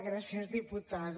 gràcies diputada